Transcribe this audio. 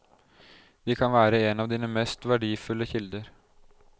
De kan være en av dine mest verdifulle kilder.